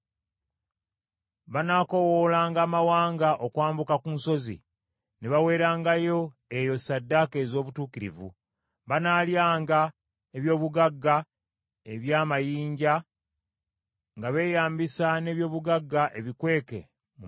Banaakoowoolanga amawanga okwambuka ku nsozi ne baweerangayo eyo ssaddaaka ez’obutuukirivu, banaalyanga eby’obugagga ebya mayanja, nga beeyambisa n’ebyobugagga ebikweke mu musenyu.”